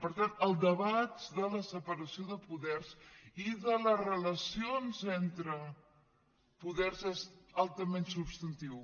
per tant el debat de la separació de poders i de les relacions entre poders és altament substantiu